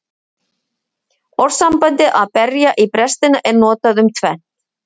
Orðasambandið að berja í brestina er notað um tvennt.